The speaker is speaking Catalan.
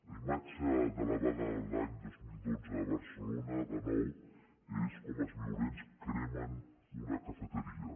la imatge de la vaga de l’any dos mil dotze a barcelona de nou és com els violents cremen una cafeteria